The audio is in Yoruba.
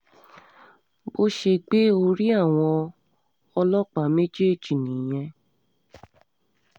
bó ṣe ṣe gbé orí àwọn ọlọ́pàá méjèèjì nìyẹn